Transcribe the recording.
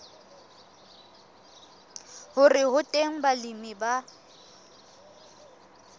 hore ho teng balemi ba